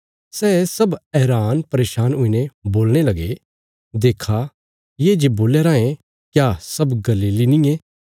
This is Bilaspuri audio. सै सब हैरानपरेशान हुईने बोलणे लगे देक्खा ये जे बोल्या रायें क्या सब गलीली नींये